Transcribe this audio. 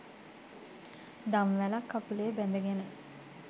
දම්වැලක්‌ කකුලේ බැඳගෙන